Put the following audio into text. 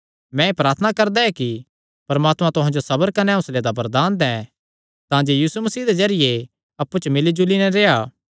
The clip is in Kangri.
मैं एह़ प्रार्थना करदा ऐ कि परमात्मा तुहां जो सबर कने हौंसले दा वरदान दैं तांजे यीशु मसीह दे जरिये अप्पु च मिल्ली जुली नैं रेह्आ